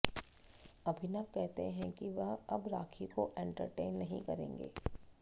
अभिनव कहते हैं कि वह अब राखी को एंटरटेन नहीं करेंगे